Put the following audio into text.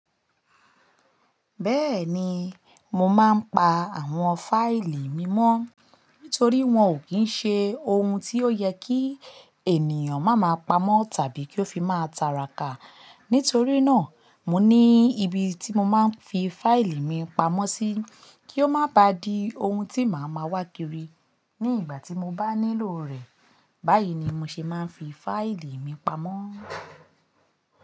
Bẹ́ẹ̀ni, mo máa ń pa àwọn fáìlì mi mọ́ nítorí wọn ò kí ń ṣe ohun tí ó yẹ kí ènìyàn má máa pamọ́ tàbí kí ó fi máa ta ràkà. Nítorí náà, mo ní ibi tí mo máa ń fi fáìlì mi pamọ́ sí kí ó má ba di ohun tí màá ma wá kiri ní ìgbà tí mo bá nílò rẹ̀. Báyìí ni mo ṣe máa ń fi fáìlì mi pamọ́.